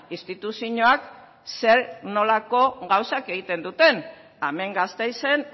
instituzioak zer nolako gauzak egiten duten hemen gasteizen